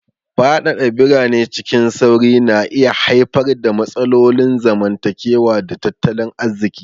Fadada birane cikin sauri na iya haifar da matsalolin zamantakewa da tattalin arziki.